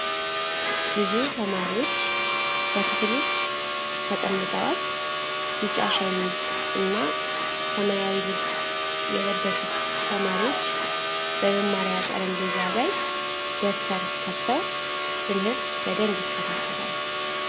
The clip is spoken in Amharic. ብዙ ተማሪዎች በክፍል ውስጥ ተቀምጠዋል። ቢጫ ሸሚዝ እና ሰማያዊ ልብስ የለበሱት ተማሪዎች በመማሪያ ጠረጴዛ ላይ ደብተር ከፍተው ትምህርት በደንብ ይከታተላሉ።